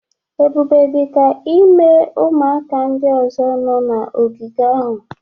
Ebube dị ka ime ụmụaka ndị ọzọ nọ na ogige ahụ